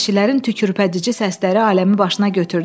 Vəhşilərin tükürpədici səsləri aləmi başına götürdü.